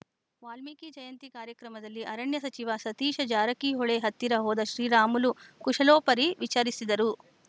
ವಾಲ್ಮೀಕಿ ಜಯಂತಿ ಕಾರ್ಯಕ್ರಮದಲ್ಲಿ ಅರಣ್ಯ ಸಚಿವ ಸತೀಶ ಜಾರಕಿಹೊಳಿ ಹತ್ತಿರ ಹೋದ ಶ್ರೀರಾಮುಲು ಕುಶಲೋಪರಿ ವಿಚಾರಿಸಿದರು